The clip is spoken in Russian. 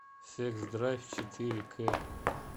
секс драйв четыре к